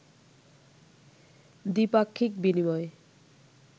দ্বিপাক্ষিক বিনিময়